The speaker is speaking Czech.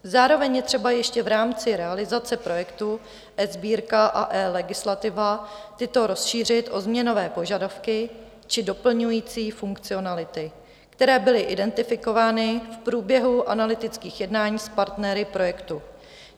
Zároveň je třeba ještě v rámci realizace projektu eSbírka a eLegislativa tyto rozšířit o změnové požadavky či doplňující funkcionality, které byly identifikovány v průběhu analytických jednání s partnery projektu.